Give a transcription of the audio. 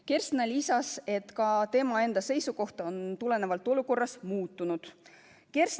Kersna lisas, et ka tema enda seisukoht on tulenevalt olukorrast muutunud.